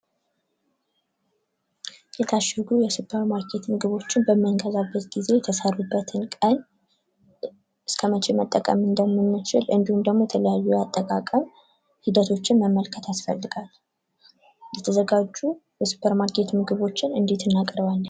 የታሸጉ የሱፐር ማርኬት እቃዎችን በምንገዛበት ጊዜ የተሰሩበትን ቀን እስከመቼ መጠቀም እንደምንችል እንዲሁም ደግሞ የተለያዩ የአጠቃቀም ሂደቶችን መመልከት ያስፈልጋል:: የተዘጋጁ የሱፐር ማርኬት ምግቦችን እንዴት እናቀርባለን?